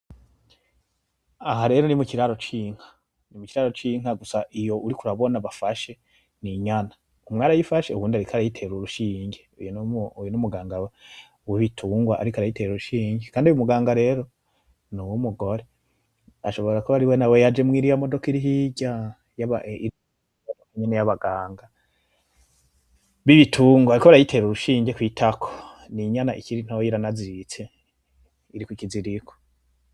Aharero nimukiraro cy'inka. Ni mukiraro cy'inka gusa iyo uriko urabona bafashe ninyana. Umwe arayifashe uyundi ariko arayitera urushinge. Uyu numuganga wiri tungwa ariko arayitera urushinge. Kandi uyumuganga rero nuwo wumugore. Ashobora kuba ariwe nawe yaje muri iriya modoka irihirya nyene yabaganga mwitungo. Bariko barayitera urushinge kwitako. n'inyana ikiri ntoya iranaziritse iri kukiziriko.